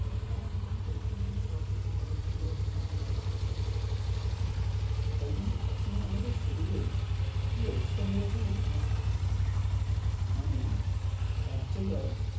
একদম tension নেই সবকিছু ভালো ছিল। এরকম ব্যাপার হয়ে গেছে। তাই জন্য ভাবছি মানে আমাদের শরীরে কি অবস্থা হয়ে গেছে বলোতো? মানে এক জায়গায়,